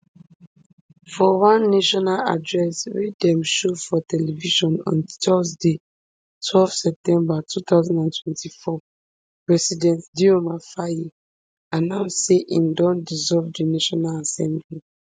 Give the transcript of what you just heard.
for one national address wey dem show for television on thursday twelve september two thousand and twenty-four president dioma faye announce say im don dissolve di national assembly